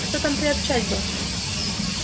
а что там приобщать бы